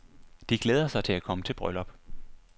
De glæder sig til at komme til bryllup.